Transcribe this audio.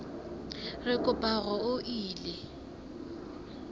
re kopa hore o ele